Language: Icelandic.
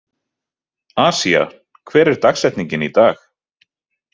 Asía, hver er dagsetningin í dag?